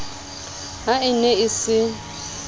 ha e ne e se